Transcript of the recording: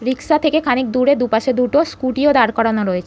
রিকশা থেকে খানিক দূরে দুপাশে দুটো স্কুটি -ও দাঁড় করানো রয়ে--